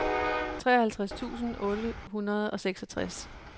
treoghalvtreds tusind otte hundrede og seksogtres